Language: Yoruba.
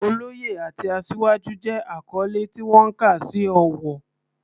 Oloye" àti "Asiwaju" jẹ́ àkọ́lé tí wọ́n kà sí ọ̀wọ̀.